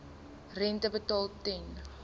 rente betaal ten